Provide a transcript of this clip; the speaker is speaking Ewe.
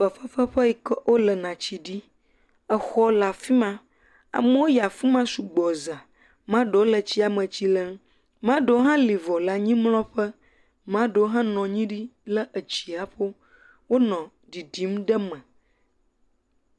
Fefefeƒe yi ke wolena tsi ɖi. Exɔ le afi ma. Amewo yi afi ma sugbɔ zã. Maa ɖewo le fi ma tsi lem, maa ɖewo le vɔ le anyimlɔ̃ƒe, maa ɖewo hã nɔ nyi ɖi lé etsiaƒo. Wonɔ ɖiɖim ɖe me.